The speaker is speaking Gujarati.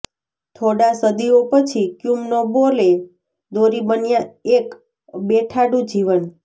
થોડા સદીઓ પછી ક્યુમનો બોલે દોરી બન્યા એક બેઠાડુ જીવન